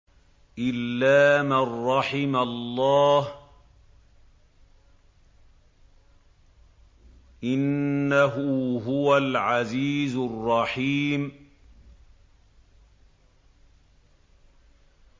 إِلَّا مَن رَّحِمَ اللَّهُ ۚ إِنَّهُ هُوَ الْعَزِيزُ الرَّحِيمُ